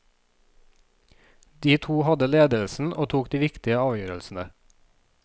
De to hadde ledelsen og tok de viktige avgjørelsene.